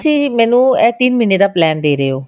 ਤੁਸੀਂ ਮੈਨੂੰ ਇਹ ਤਿੰਨ ਮਹੀਨੇ ਦਾ plan ਦੇ ਰਹੇ ਹੋ